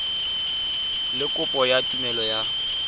le kopo ya tumelelo ya